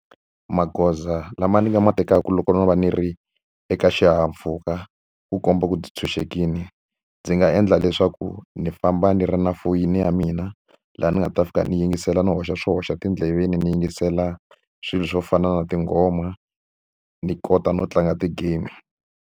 Magoza lama ni nga ma tekaka loko no va ni ri eka xihahampfhuka ku komba ku ndzi tshunxekile, ndzi nga endla leswaku ni famba ni ri na foyini ya mina. Laha ni nga ta fika ni yingisela ni hoxa swi hoxa tindleveni ni yingisela swilo swo fana na tinghoma, ni kota no tlanga ti-game.